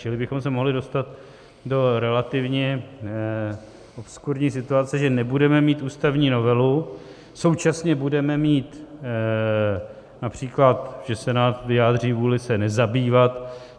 Čili bychom se mohli dostat do relativně obskurní situace, že nebudeme mít ústavní novelu, současně budeme mít například, že Senát vyjádří vůli se nezabývat.